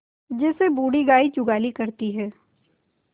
जैसे बूढ़ी गाय जुगाली करती है